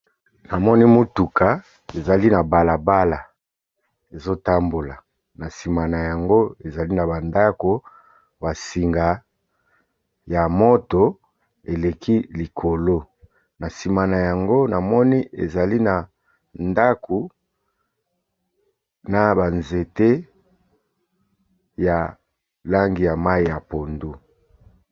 Na moni mutuka ezali na balabala ezo tambola na sima na yango, ezali na ba ndaku, ba singa ya moto eleki likolo . Na sima na yango na moni ezali na ndako na ba nzete ya langi ya mayi ya pondu .